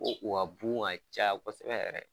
Ko u ka bugun ka caya kosɛbɛ yɛrɛ